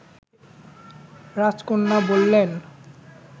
রাজকন্যা বললেন